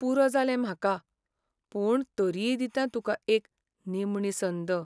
पुरो जालें म्हाका, पूण तरीय दितां तुका एक निमणी संद.